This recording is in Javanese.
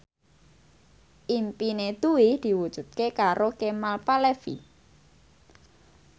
impine Dwi diwujudke karo Kemal Palevi